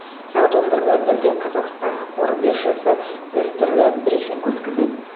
сағат он бір нөл нөлде қазақстан қор биржасы дәстүрлі брифинг өткізеді